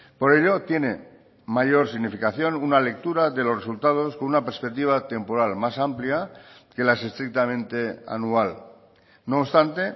por ello tiene mayor significación una lectura de los resultados con una perspectiva temporal más amplia que las estrictamente anual no obstante